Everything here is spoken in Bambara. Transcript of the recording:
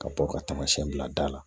Ka bɔ ka taamasiyɛn bila da la